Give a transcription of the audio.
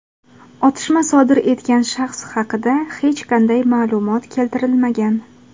Otishma sodir etgan shaxs haqida hech qanday ma’lumot keltirilmagan.